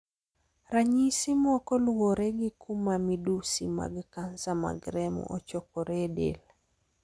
Ranyisi moko luwore gi kuma midusi mag kansa mag remo ochokoree e del.